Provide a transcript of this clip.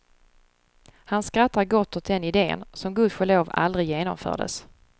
Han skrattar gott åt den iden, som gudskelov aldrig genomfördes.